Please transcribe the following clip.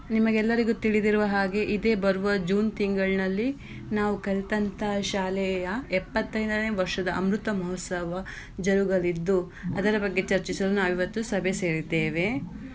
ನಿಮಗೆಲ್ಲರಿಗೂ ತಿಳಿದಿರುವ ಹಾಗೆ ಇದೆ ಬರುವ June ತಿಂಗ್ಳಲ್ಲಿ ನಾವು ಕಲ್ತಹಂತ ಶಾಲೆಯ ಎಪ್ಪತೈದ್ನೇಯ ವರ್ಷದ ಅಮೃತ ಮಹೋತ್ಸವ ಜರುಗಲಿದ್ದು ಅದರ ಬಗ್ಗೆ ಚರ್ಚಿಸಲು ನಾವು ಇವತ್ತು ಸಭೆ ಸೇರಿದ್ದೇವೆ.